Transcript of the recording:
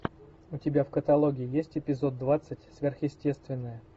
у тебя в каталоге есть эпизод двадцать сверхъестественное